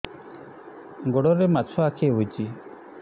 ଗୋଡ଼ରେ ମାଛଆଖି ହୋଇଛି